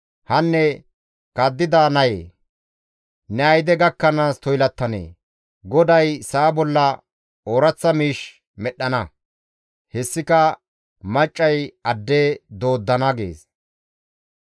Hanne kaddida nayee! Ne ayde gakkanaas toylattanee? GODAY sa7a bolla ooraththa miish medhdhana; hessika maccay adde dooddana» gees.